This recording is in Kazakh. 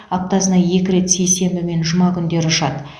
аптасына екі рет сейсенбі мен жұма күндері ұшады